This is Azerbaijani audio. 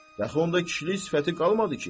yaxı onda kişilik sifəti qalmadı ki?